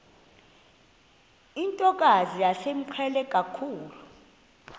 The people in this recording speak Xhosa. ntokazi yayimqhele kakhulu